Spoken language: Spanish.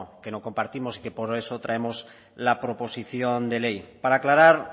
que compartimos y que por eso traemos la proposición de ley para aclarar